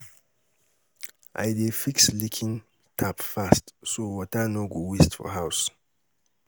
I dey fix leaking tap fast so water no go waste for house.